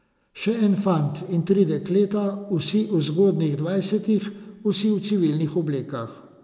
Še en fant in tri dekleta, vsi v zgodnjih dvajsetih, vsi v civilnih oblekah.